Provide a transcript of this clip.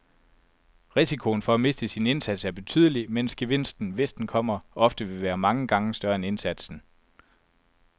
Risikoen for at miste sin indsats er betydelig, mens gevinsten, hvis den kommer, ofte vil være mange gange større end indsatsen.